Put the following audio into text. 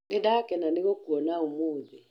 Nĩ ndakena nĩ gũkũona ũmũthĩ.